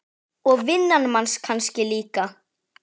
Og vinnan manns kannski líka.